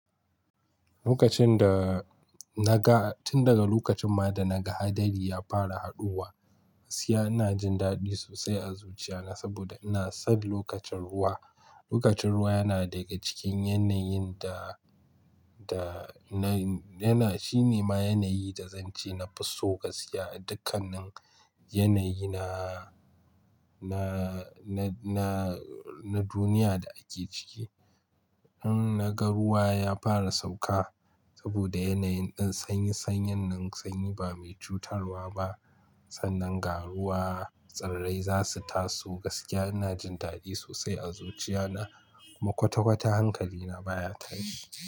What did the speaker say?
Lokacin da na ga, tun daga lokacin ma da na ga haɗari ya fara haɗuwa, gaskiya ina jin daɗi sosai a zuciya na saboda ina son lokacin ruwa. Lokacin ruwa yana daga cikin yanayin da, da na, yana, shine ma yanayi da zan ce na fi so gaskiya a dukkanin yanayi na, na, na, na, na duniya da ake ciki. In na ga ruwa ya fara sauka saboda yanayin ɗin sanyi, sanyin nan sanyi ba mai cutarwa ba. Sannan ga ruwa, tsarrai za su taso gaskiya ina jin daɗi sosai a zuciya na kuma kwata-kwata hankali na baya tayi.